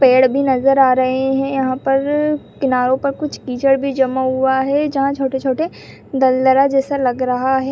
पेड़ भी नजर आ रहे है यहां पर किनारो पर कुछ कीचड़ भी जमा हुआ है जहां छोटे-छोटे दलदला जैसा लग रहा है।